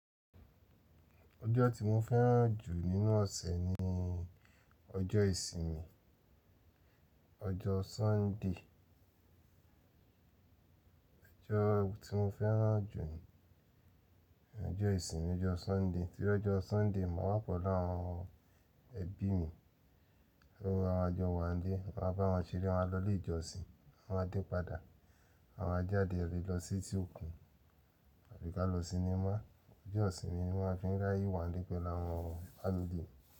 Ọjọ́ tí mo fẹ́ràn jù nínú ọ̀sẹ̀ ni ọjọ́ ìsinmi, ọjọ́ Sunday. Ọjọ́ tí mo fẹ́ràn jù ni ọjọ́ ìsinmi, ọjọ́ Sunday. Tí ó jọ Sunday, màá wa pelu àwọn ẹbí mi, lówó a jọ wá ń dé, máa bá wọn ṣeré, máa lọ ilé ìjọsìn, a máa dé padà, àwa máa jáde e lọ sí eti òkun àbí ká lọ sinimá. Ọjọ́ ìsinmi ni wọ́n fi ń ráyè wá ń lé pẹ̀lú àwọn family mi.